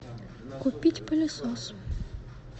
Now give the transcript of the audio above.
купить пылесос